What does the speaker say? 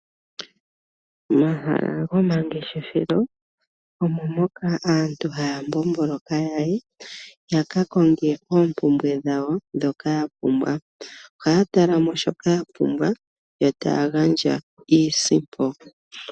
Omahala gomangeshefelo omo moka aantu haya mbomboloka yakakonge oompumbwe dhawo ndhoka yapumbwa. Ohaya talamo shoka yapumbwa, yo taya gandja iisimpo.